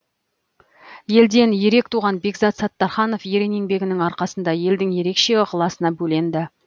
елден ерек туған бекзат саттарханов ерен еңбегінің арқасында елдің ерекше ықыласына бөленді